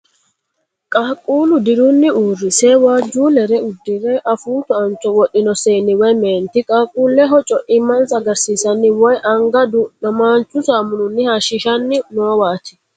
Qaaqqulle dirunni uurrsi waajjuullere uddire afuu tuancho wodhino seenni woy meenti qaaqqulleho coimmansa agarsiisanni woy anga du'namaanchu saamuninni hayishiisanni noowaati.